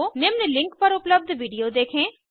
निम्न लिंक पर उपलब्ध विडिओ देखें